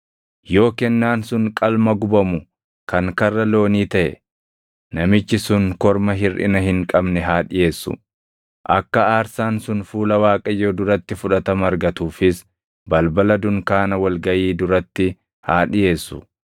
“ ‘Yoo kennaan sun qalma gubamu kan karra loonii taʼe, namichi sun korma hirʼina hin qabne haa dhiʼeessu. Akka aarsaan sun fuula Waaqayyoo duratti fudhatama argatuufis balbala dunkaana wal gaʼii duratti haa dhiʼeessu.